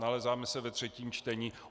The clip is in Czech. Nalézáme se ve třetím čtení.